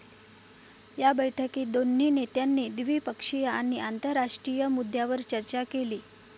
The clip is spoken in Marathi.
या बैठकीत दोन्ही नेत्यांनी द्विपक्षीय आणि आंतरराष्ट्रीय मुद्द्यांवर चर्चा केली.